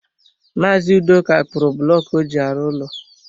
Maazi Udoka kpụrụ bụlọku ọ ji arụ ụlọ.